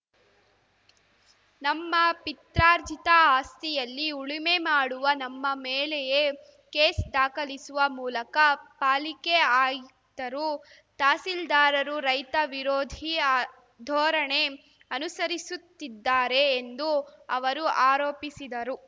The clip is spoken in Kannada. ನಮ್ಮ ಪಿತ್ರಾರ್ಜಿತ ಆಸ್ತಿಯಲ್ಲಿ ಉಳುಮೆ ಮಾಡುವ ನಮ್ಮ ಮೇಲೆಯೇ ಕೇಸ್‌ ದಾಖಲಿಸುವ ಮೂಲಕ ಪಾಲಿಕೆ ಆಯುಕ್ತರು ತಹಸೀಲ್ದಾರರು ರೈತ ವಿರೋಧಿ ಧೋರಣೆ ಅನುಸರಿಸುತ್ತಿದ್ದಾರೆ ಎಂದು ಅವರು ಆರೋಪಿಸಿದರು